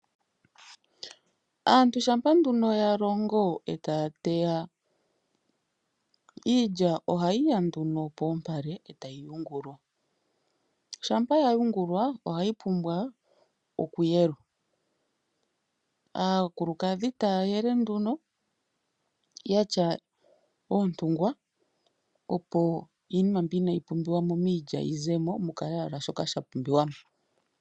Aantu shampa nduno yalongo ee taya teya, iilya ohayi ya nduno poompale, ee tayi yungulwa. Shampa yayungulwa ohayi pumbwa oku yelwa. Aakulukadhi taya yele nduno yatya oontungwa opo iinima mbi inayi pumbiwamo miilya yizemo mukale owala shoka shapumbiwamo.